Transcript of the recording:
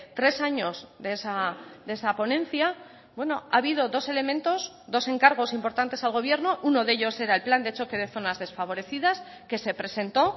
tres años de esa ponencia bueno ha habido dos elementos dos encargos importantes al gobierno uno de ellos era el plan de choque de zonas desfavorecidas que se presentó